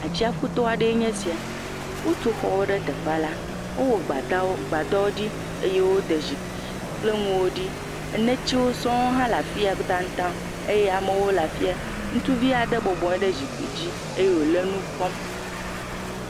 Tsiaƒuto aɖee nye esia, wotu xɔwo ɖe teƒa la, wowɔ gbadawo gbadɔwo ɖi eye wode zikpui kple nuwo ɖi. enetsiwo sɔŋ hã le afi ya tataŋ eye amewo le afi ya, ŋutsuvi aɖe bɔbɔyi ɖe zikpui dzi eye wole nu kpɔm.